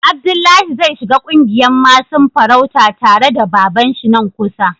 Abdullahi zai shiga ƙungiyan masun farauta tare da baban shi nan kusa.